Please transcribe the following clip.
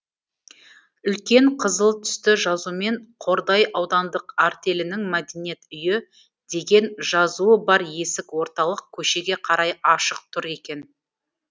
үлкен қызыл түсті жазумен қордай аудандық артелінің мәдениет үйі деген жазуы бар есік орталық көшеге қарай ашық тұр екен